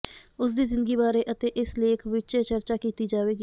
ਉਸ ਦੀ ਜ਼ਿੰਦਗੀ ਬਾਰੇ ਅਤੇ ਇਸ ਲੇਖ ਵਿਚ ਚਰਚਾ ਕੀਤੀ ਜਾਵੇਗੀ